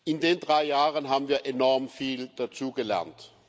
In den drei Jahren haben wir enorm viel dazugelernt.